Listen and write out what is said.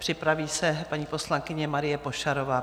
Připraví se paní poslankyně Marie Pošarová.